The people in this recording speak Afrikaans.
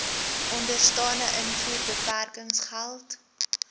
onderstaande invoerbeperkings geld